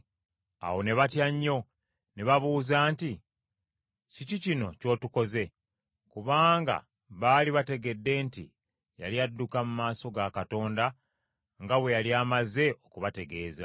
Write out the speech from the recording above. Awo ne batya nnyo ne babuuza nti, “Kiki kino ky’otukoze?” Kubanga baali bategedde nti yali adduka mu maaso ga Katonda nga bwe yali amaze okubategeeza.